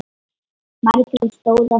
Margrét stóð á fætur.